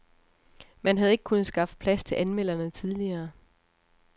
Man havde ikke kunnet skaffe plads til anmelderne tidligere.